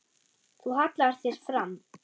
Þú hallar þér fram.